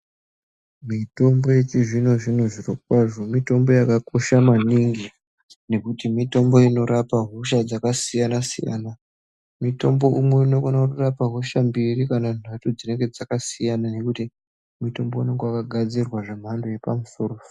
Mitombo yechi zvino zvino zviro kwazvo mitombo yakakosha maningi nekuti mitombo inorapa hosha dzaka siyana siyana mitombo umwe unokona kuto rapa hosha mbiri kana nhatu dzinenge dzakasiyana nekuti mitombo unenge waka gadzirwa zve mhando yepa musoro soro .